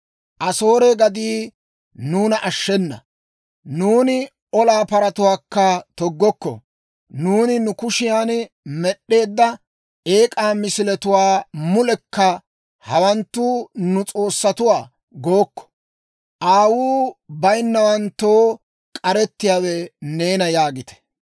Asoore gaddii nuuna ashshenna; nuuni olaa paratuwaakka toggokko. Nuuni nu kushiyaan med'd'eedda eek'aa misiletuwaa mulekka, ‹Hawanttu nu s'oossatuwaa› gookko. Aawuu bayinnawanttoo k'aretsiyaawe neena» yaagite.